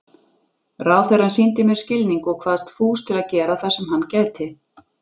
Ráðherrann sýndi mér skilning og kvaðst fús til að gera það sem hann gæti.